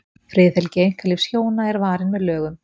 friðhelgi einkalífs hjóna er varin með lögum